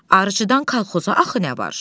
Arıcıdan kolxoza axı nə var?